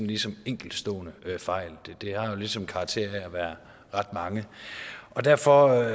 ligesom er enkeltstående fejl det har jo ligesom karakter af at være ret mange derfor